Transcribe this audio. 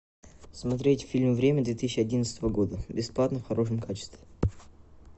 смотреть фильм время две тысячи одиннадцатого года бесплатно в хорошем качестве